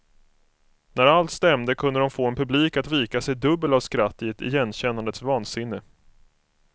När allt stämde kunde de få en publik att vika sig dubbel av skratt i ett igenkännandets vansinne.